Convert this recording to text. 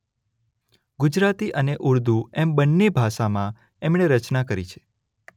ગુજરાતી અને ઉર્દૂ એમ બંને ભાષામાં એમણે રચના કરી છે.